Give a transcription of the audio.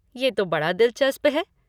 ये तो बड़ा दिलचस्प है।